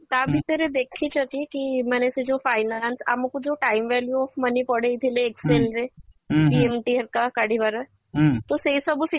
ତମେ ତା ଦେଖିଛ କି ମାନେ ସେ ଯୋଉ finance ଆମକୁ ଯୋଉ time value of money ପଢେଇ ଥିଲେ excel ରେ PMT ହେରିକା କାଢ଼ିବାର ତ ସେଇ ସବୁ ଶିଖେଇବାର